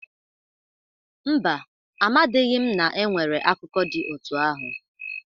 Mba, amadịghị m na e nwere akụkọ dị otu ahụ.